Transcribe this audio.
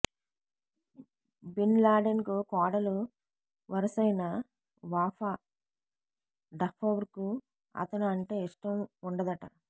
bin లాడెన్కు కోడలు వరుసైన వాఫా డఫౌర్కు అతను అంటే ఇష్టం ఉండదట